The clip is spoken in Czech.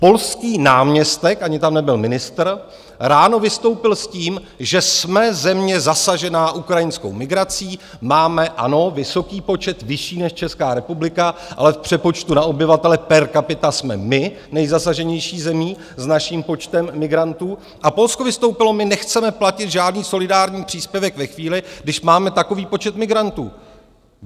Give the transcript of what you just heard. Polský náměstek - ani tam nebyl ministr - ráno vystoupil s tím, že jsme země zasažená ukrajinskou migrací, máme, ano, vysoký počet, vyšší než Česká republika, ale v přepočtu na obyvatele per capita jsme my nejzasaženější zemí s naším počtem migrantů, a Polsko vystoupilo: my nechceme platit žádný solidární příspěvek ve chvíli, když máme takový počet migrantů.